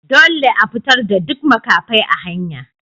Dolle a fitar da duk makafai a hanya!